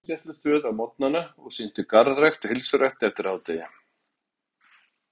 Hún vann á heilsugæslustöð á morgnana og sinnti garðrækt og heilsurækt eftir hádegi.